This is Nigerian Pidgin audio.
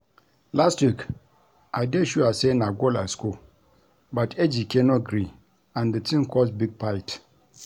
Last week I dey sure say na goal I score but Ejike no gree, and the thing cause big fight